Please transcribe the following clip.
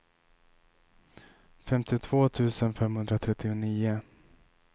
femtiotvå tusen femhundratrettionio